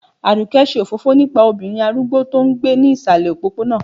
aduke ṣe òfófó nípà obirin arúgbó to n gbé ni ìsàlè òpóponà